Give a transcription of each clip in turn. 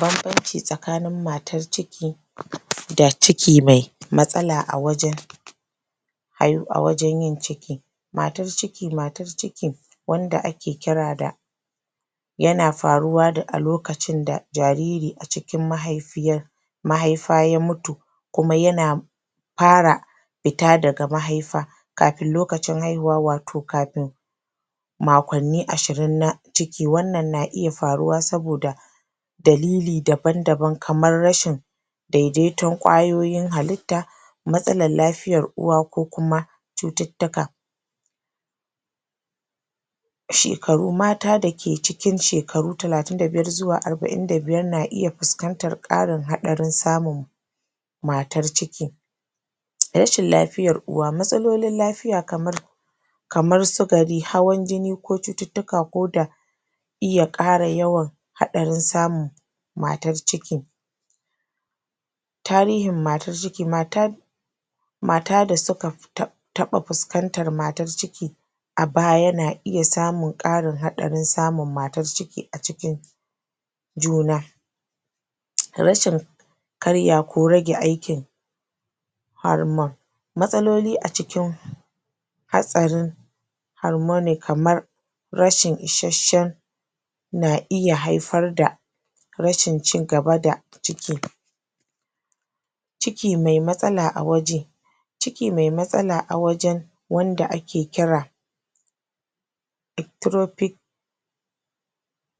Bambanci tsakanin matar ciki da ciki mai matsala a wajen a wajen yin ciki matar ciki matar ciki wanda ake kira da yana faruwa a lokacin da jariri a cikin mahaifiyar mahaifa ya mutu kuma yana fara fita daga mahaifa kafin lokacin haihuwa watau kafin makwanni ashirin na ciki wannan na iya faruwa saboda dalili daban-daban kaman rashin daidaiton ƙwayoyin halitta matsalar lafiyan uwa ko kuma cututtuka shekaru mata da ke cikin shekaru talatin da biyar zuwa arba'in da biyar na iya fuskantar ƙarin haɗarin samun matar ciki rashin lafiyar uwa. matsalolin lafiya kamar kamar sukari, hawan jini ko cututtuka ko da iya ƙara yawan haɗarin samun tarihin matar ciki matar mata da suka? taɓa fuskantar matar ciki a baya na iya samun ƙarin haɗarin samun matar ciki a cikin juna rashin kariya ko rage aikin? mastaloli a cikin hatsarin harmoni kamar rashin ishashen na iya haifar da rashin cigaba da ciki ciki mai matsala waje ciki mai matsala a wajen wanda ake kira ectropic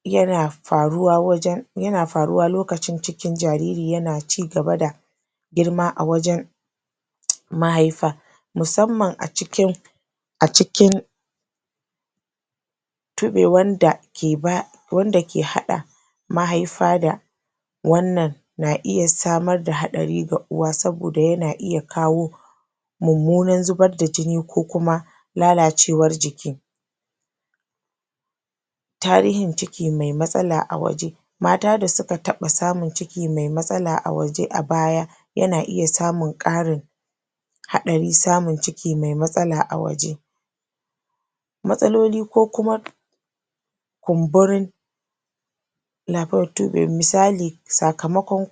yana faruwa wajen yana faruwa lokacin cikin jariri yana cigaba da girma a wajen mahaifa musamman a cikin a cikin? wanda ke haɗa mahaifa da wannan na iya samar ds haɗari ga uwa saboda yana iya kawo mummunar zubar da jini ko kuma lalacewar jiki tarihin ciki mai matsala a waje mata da suka taɓa samun ciki mai matsala a waje a baya yana iya samun ƙarin haɗarin samun ciki mai matsala a waje matsaloli ko kuma kumburin? misali sakamakon